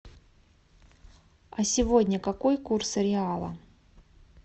а сегодня какой курс реала